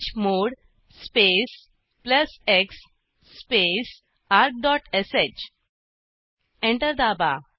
chmod space plus x space argश enter दाबा